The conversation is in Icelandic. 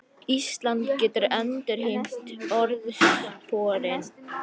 Ísland getur endurheimt orðsporið